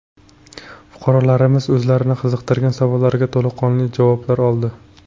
Fuqarolarimiz o‘zlarini qiziqtirgan savollariga to‘laqonli javoblar oldi.